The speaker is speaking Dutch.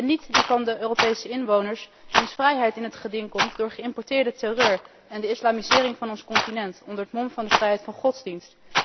En niet die van de Europese inwoners wier vrijheid in het geding komt door geïmporteerde terreur en de islamisering van ons continent, onder het mom van vrijheid van godsdienst.